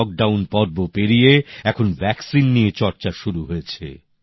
lock down পর্ব পেরিয়ে এখন ভ্যাক্সিন নিয়ে চর্চা শুরু হয়েছে